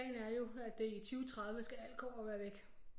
Plan er jo at det i 2030 skal alt kobber være væk